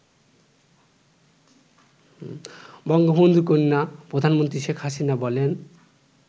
বঙ্গবন্ধুকন্যা প্রধানমন্ত্রী শেখ হাসিনা বলেন